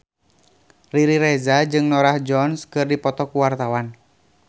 Riri Reza jeung Norah Jones keur dipoto ku wartawan